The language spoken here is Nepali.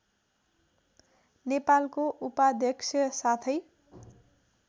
नेपालको उपाध्यक्ष साथै